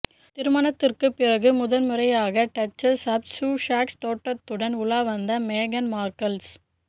திருமணத்திற்கு பிறகு முதன்முறையாக டச்சஸ் ஆப் சுசக்ஸ் தோற்றத்துடன் உலா வந்த மேகன் மார்க்கல்